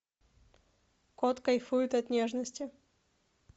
кот кайфует от нежности